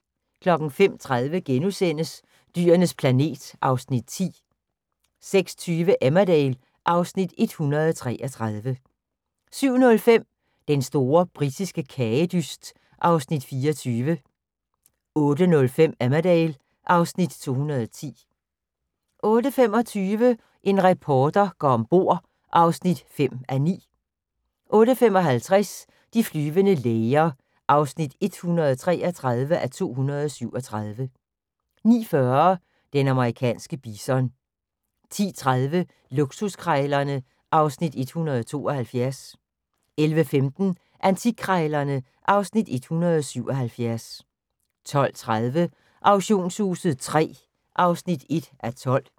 05:30: Dyrenes planet (Afs. 10)* 06:20: Emmerdale (Afs. 133) 07:05: Den store britiske kagedyst (Afs. 24) 08:05: Emmerdale (Afs. 210) 08:25: En reporter går om bord (5:9) 08:55: De flyvende læger (133:237) 09:40: Den amerikanske bison 10:30: Luksuskrejlerne (Afs. 172) 11:15: Antikkrejlerne (Afs. 177) 12:30: Auktionshuset III (1:12)